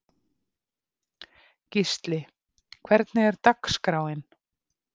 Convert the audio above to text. Gísli, hvernig er dagskráin?